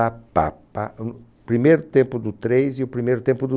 O primeiro tempo do três e o primeiro tempo do